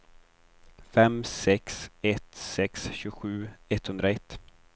fem sex ett sex tjugosju etthundraett